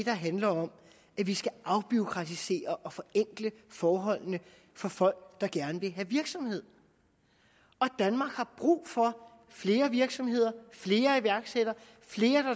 handler om at vi skal afbureaukratisere og forenkle forholdene for folk der gerne vil have virksomhed og danmark har brug for flere virksomheder flere iværksættere flere